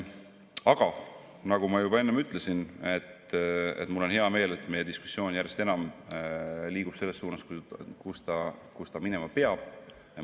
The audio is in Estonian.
Aga nagu ma juba ütlesin, mul on hea meel, et meie diskussioon järjest enam liigub selles suunas, kuhu ta liikuma peab.